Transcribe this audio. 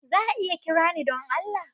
Za a iya kira ni don Allah?